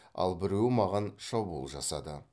ал біреуі маған шабуыл жасады